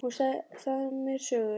Hún sagði mér sögur.